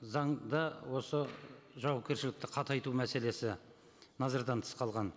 заңда осы жауапкершілікті қатайту мәселесі назардан тыс қалған